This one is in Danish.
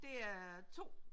Det er 2